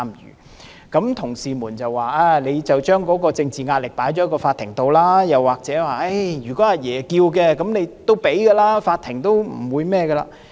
於是有同事說，政府將政治壓力轉移給法庭，又或者如果"阿爺"要求，一定會批准，法庭不會拒絕。